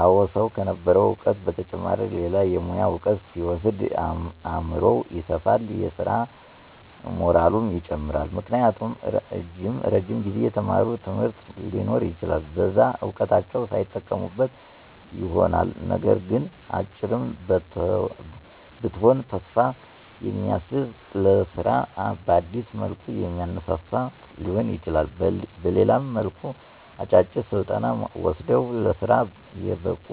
አወ ሰዉ ከነበረዉ እዉቀት በተጨማሪ ሌላ የሙያ እዉቀት ሲወስድ አምሮዉ ይሰፋል የስራ ሞራሉም ይጨምራል። ምክንያቱም እረጅም ጊዜ የተማሩት ትምህርት ሊኖር ይችላል በዛ እዉቀታቸዉ ሳይጠቀሙበት ይሆናልነገር ግን "አጭርም ብትሆን ተስፋ የሚያስዝ ለስራ በአዲስ መልኩ የሚያነሳሳ" ሊሆን ይችላል በሌላም መልኩ "አጫጭር ስልጠና ወስደዉ ለስራ የበቁ